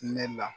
Ne la